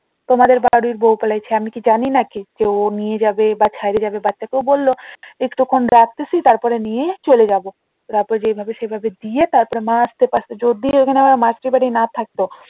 তোমাদের বাড়ির বউ পালাইছে আমি কি জানি নাকি যে ও নিয়ে যাবে বা ছেড়ে যাবে বাচ্চাকে ও বললো কিছুক্ষন রাখতেছি তারপরে নিয়ে চলে যাবো তারপরে রাতে যেভাবে সেভাবে দিয়ে আসছে পারছে যদি ওখানে আমার মাসির বাড়ি না থাকতো